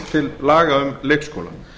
frumvarpið um leikskóla